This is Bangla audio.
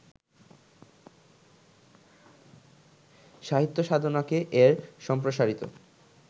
সাহিত্যসাধনাকে এর সম্প্রসারিত